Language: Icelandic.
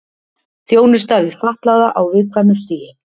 Þjónusta við fatlaða á viðkvæmu stigi